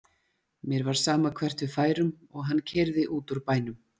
Mér var sama hvert við færum og hann keyrði út úr bænum.